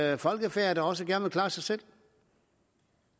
er et folkefærd der også gerne vil klare sig selv